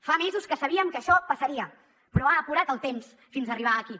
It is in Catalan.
fa mesos que sabíem que això passaria però ha apurat el temps fins arribar aquí